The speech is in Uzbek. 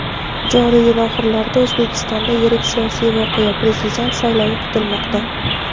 joriy yil oxirlarida O‘zbekistonda yirik siyosiy voqea – Prezident saylovi kutilmoqda.